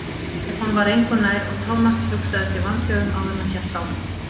Stefán var engu nær og Thomas hugsaði sig vandlega um áður en hann hélt áfram.